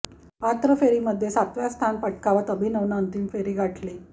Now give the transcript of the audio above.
पात्र फेरीमध्ये सातव्या स्थान पटकावत अभिनवनं अंतिम फेरी गाठली